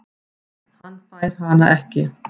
Hann fær hana ekki.